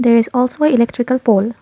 there is also electrical pole.